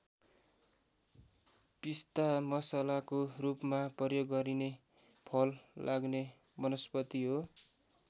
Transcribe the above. पिस्ता मसलाको रूपमा प्रयोग गरिने फल लाग्ने वनस्पति हो।